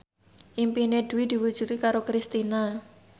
impine Dwi diwujudke karo Kristina